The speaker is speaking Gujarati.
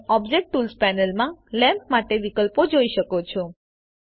તમે ઓબ્જેક્ટ ટૂલ્સ પેનલ માં લેમ્પ માટે વિકલ્પો જોઈ શકો છો